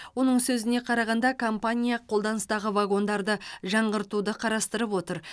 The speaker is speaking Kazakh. оның сөзіне қарағанда компания қолданыстағы вагондарды жаңғыртуды қарастырып отыр